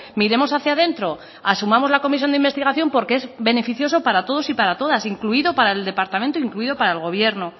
miremos hacía dentro asumamos la comisión de investigación porque es beneficioso para todos y para todas incluido para el departamento incluido para el gobierno